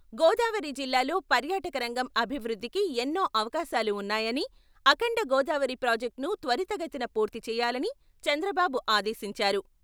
గోదావరి జిల్లాల్లో పర్యాటకరంగం అభివృద్ధికి ఎన్నో అవకాశాలు ఉన్నాయని, అఖండ గోదావరి ప్రాజెక్టును త్వరితగతిన పూర్తి చేయాలని చంద్రబాబు ఆదేశించారు.